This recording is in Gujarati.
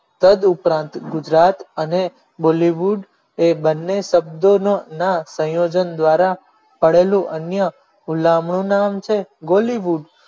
તદુપરાંત ગુજરાત અને bollywood એ બંને શબ્દોનો ના સંયોજન દ્વારા પડેલું અન્ય હુલામણું નામ છે bollywood